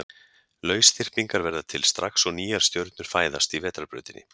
lausþyrpingar verða til strax og nýjar stjörnur fæðast í vetrarbrautinni